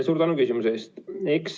Suur tänu küsimuse eest!